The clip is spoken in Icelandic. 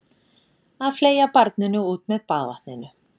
Að fleygja barninu út með baðvatninu